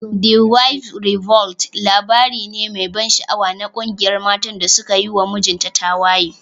"The wives revolt" labari ne mai ban sha'awa na ƙungiyar matan da suka yi wa mijinta tawaye.